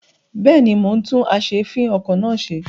Bẹ́ẹ̀ni, mo ń tún as'èéfìn-okọ̀ náà ṣe.